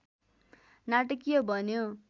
नाटकीय बन्यो